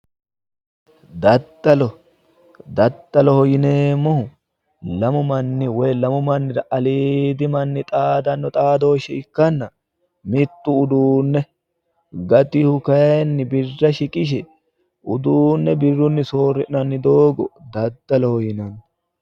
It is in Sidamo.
Daddalo daddaloho yineemmohu lamu manni woy lamu mannira aliidi manni xaadanno xaadooshshe ikkanna mittu uduunne gatihu kayinni birra shiqishe uduunne birrunni soorri'nanni doogo daddaloho yinanni